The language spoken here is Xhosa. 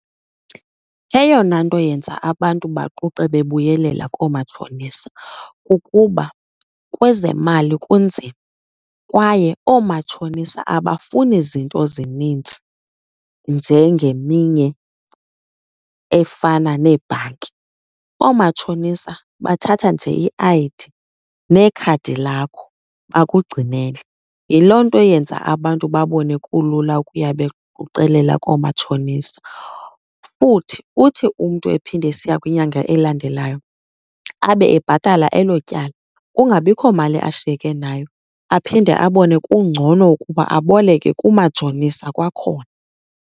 Eyona nto yenza abantu baquqe bebuyelela koomatshonisa kukuba kwezemali kunzima kwaye oomatshonisa abafuni zinto zinintsi njengeminye efana neebhanki. Oomatshonisa bathatha nje i-I_D nekhadi lakho bakugcinele. Yiloo nto yenza abantu babone kulula ukuya bequqelela koomatshonisa. Futhi uthi umntu ephinda esiya kwinyanga elandelayo abe ebhatala elo tyala, kungabikho mali ashiyeke nayo, aphinde abone kungcono ukuba aboleke kumatshonisa kwakhona.